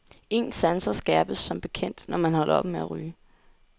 Ens sanser skærpes som bekendt, når man holder op med at ryge.